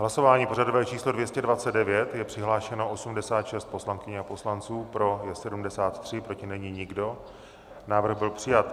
Hlasování pořadové číslo 229, je přihlášeno 86 poslankyň a poslanců, pro je 73, proti není nikdo, návrh byl přijat.